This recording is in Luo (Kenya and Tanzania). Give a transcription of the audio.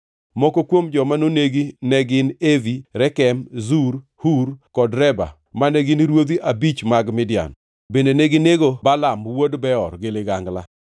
Moko kuom joma nonegi ne gin Evi, Rekem, Zur, Hur kod Reba mane gin ruodhi abich mag Midian. Bende neginego Balaam wuod Beor gi ligangla.